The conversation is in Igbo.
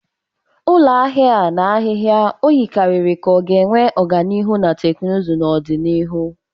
Ụlọ ahịa a na-ahịhịa o yikarịrị ka ọ ga-enwe ọganihu na teknụzụ n'ọdịnihu.